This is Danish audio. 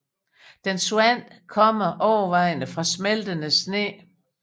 Dens vand kommer overvejende fra smeltende sne